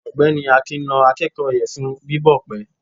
ọgbẹni akín na akeko yen fun bibọ pẹ